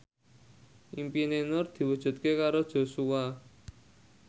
impine Nur diwujudke karo Joshua